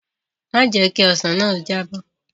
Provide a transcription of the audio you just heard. Má jẹ̀ ẹ́ kí ọsàn náà jábọ́!